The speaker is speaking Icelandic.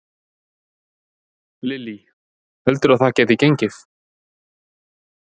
Lillý: Heldurðu að það geti gengið?